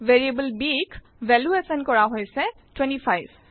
variable bক value assign কৰা হৈছে 25